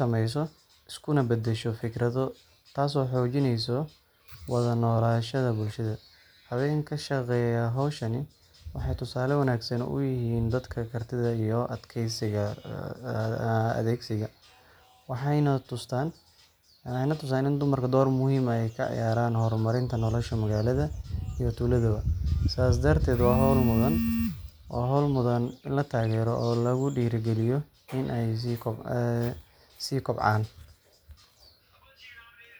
samesyo iskuna bedesho fikrado taaso xoojineeso wada nolashada bulshada hawwenka ka shaqeeya hawshani waxay tusaale wanagsan uyihin dadka kartida iyo adkeysiga leh waxay na tusan i dumarku doowr muhim ah ka ciyaraan horumarinta noloshada magaalda iyo tuulada bo sidaas darteet waa hawl mudan in la taagero oo lagu dhiirigaliyo inaay sii kobcaan.